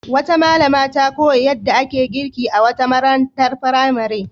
Wata malama ta koya yadda ake girki a wata marantar firamare.